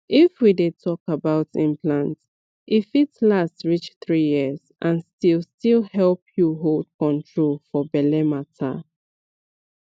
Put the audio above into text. if we dey talk about implant e fit last reach three years and still still help you hold control for belle matter